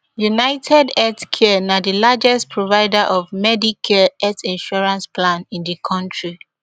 unitedhealthcare na di largest provider of medicare health insurance plan in di kontri